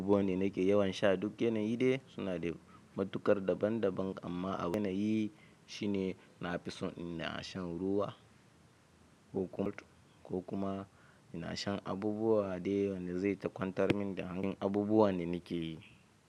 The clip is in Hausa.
Ruwa ne nakan yawan sha duk yanayi dai suna da matuƙar daban daban amma abun yanayi shine nafi son ina sha ruwa ko kur ko kuma ina sha abubuwa de wanda zai takwantar da hanka abubuwan da nakeyi.